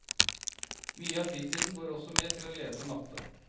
Mye av fritiden går også med til å lese matte.